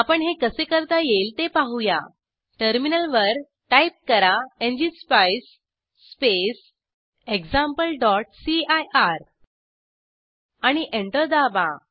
आपण हे कसे करता येईल ते पाहूया टर्मिनलवर टाईप करा एनजीएसपाईस स्पेस exampleसीआयआर आणि एंटर दाबा